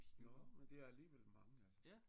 Jo men det er alligevel mange altså